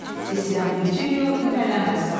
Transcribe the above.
Tisian Veçelio İtalyan rəssamıdır.